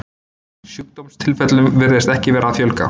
Sjúkdómstilfellum virðist ekki vera að fjölga.